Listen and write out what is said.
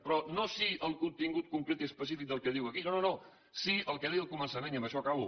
però no sí al contingut concret i específic del que diu aquí no no no sí al que deia al començament i amb això acabo